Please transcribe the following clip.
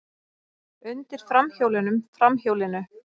Undir framhjólunum, framhjólinu.